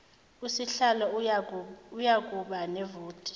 usihlalo uyakuba nevoti